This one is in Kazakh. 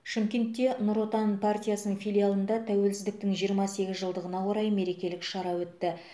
шымкентте нұр отан партиясының филиалында тәуелсіздіктің жиырма сегіз жылдығына орай мерекелік шара өтті